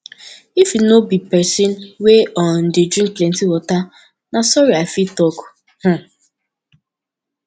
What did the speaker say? if you no be pesin wey um dey drink plenty water na sorry i fit talk um